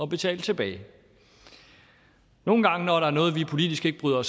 betale tilbage nogle gange når der er noget vi politisk ikke bryder